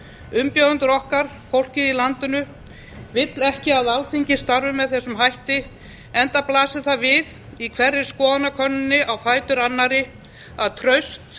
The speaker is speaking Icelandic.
umbjóðendur okkar fólkið í landinu vill ekki að alþingi starfi með þessum hætti enda blasir það við í hverri skoðanakönnuninni á fætur annarri að traust